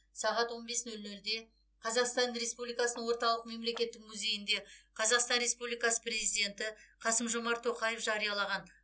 сағат он бес нөл нөлде қазақстан оеспубликасының орталық мемлекеттік музейінде қазақстан республикасы президенті қасым жомарт тоқаев жариялаған